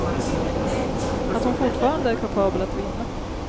Att hon fortfarande är kapabel att vinna.